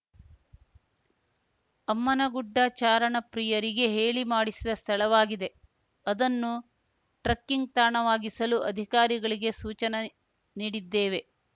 ಅಮ್ಮನಗುಡ್ಡ ಚಾರಣ ಪ್ರಿಯರಿಗೆ ಹೇಳಿ ಮಾಡಿಸಿದ ಸ್ಥಳವಾಗಿದೆ ಅದನ್ನು ಟ್ರಕ್ಕಿಂಗ್‌ ತಾಣವಾಗಿಸಲು ಅಧಿಕಾರಿಗಳಿಗೆ ಸೂಚನೆ ನೀಡಿದ್ದೇವೆ